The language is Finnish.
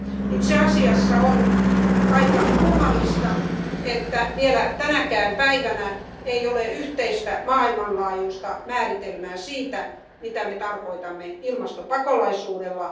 Itse asiassa on aika kummallista, että vielä tänäkään päivänä ei ole yhteistä maailmanlaajuista määritelmää sille, mitä me tarkoitamme ilmastopakolaisuudella.